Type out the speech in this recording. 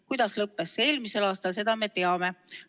Kuidas lõppes see eelmisel aastal, seda me teame.